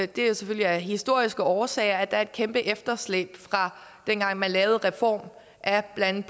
det er selvfølgelig af historiske årsager at der er et kæmpe efterslæb fra dengang man lavede reformen af blandt